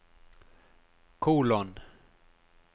kolon